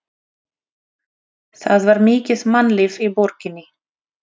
Það var mikið mannlíf í borginni.